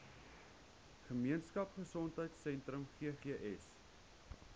gemeenskap gesondheidsentrum ggs